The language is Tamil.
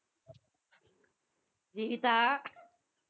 ஜீவிதா